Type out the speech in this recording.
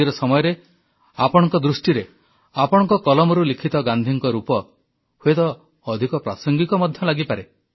ଆଜିର ସମୟରେ ଆପଣଙ୍କ ଦୃଷ୍ଟିରେ ଆପଣଙ୍କ କଲମରୁ ଲିଖିତ ଗାନ୍ଧୀଙ୍କ ରୂପ ହୁଏତ ଅଧିକ ପ୍ରାସଙ୍ଗିକ ମଧ୍ୟ ଲାଗିପାରେ